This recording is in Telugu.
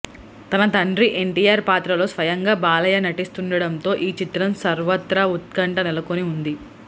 తన తండ్రి ఎన్టీఆర్ పాత్రలో స్వయంగా బాలయ్య నటిస్తునడంతో ఈ చిత్రం సర్వత్రా ఉత్కంఠ నెలకొని ఉంది